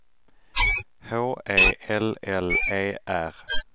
H E L L E R